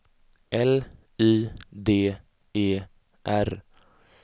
L Y D E R